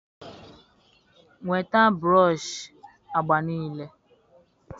Nweta broshị agba niile